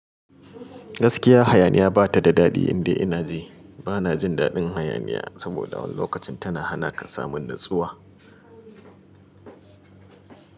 Gaskiya, hayaniya bata da daɗi in dai ina ji. Bana jin daɗin hayaniya saboda wani lokacin tana hana ka samun natsuwa.